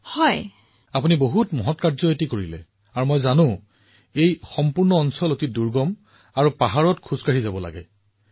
প্ৰধানমন্ত্ৰীঃ আপুনি এটা মহান কাম কৰিছে আৰু মই জানো এই গোটেই অঞ্চলটো ই কিমান কঠিন আৰু পৰ্বতত খোজ কাঢ়ি অহাযোৱা কৰিব লাগে